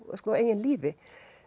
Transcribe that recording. eigin lífi